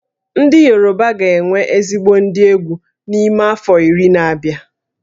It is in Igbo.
Ndị Yoruba ga-enwe ezigbo ndị egwú n'ime afọ iri na-abịa